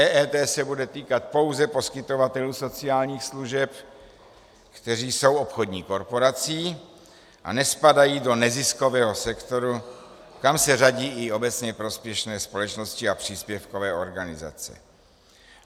EET se bude týkat pouze poskytovatelů sociálních služeb, kteří jsou obchodní korporací a nespadají do neziskového sektoru, kam se řadí i obecně prospěšné společnosti a příspěvkové organizace.